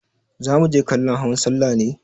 Za muje kallon hawan sallah ne?